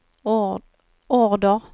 order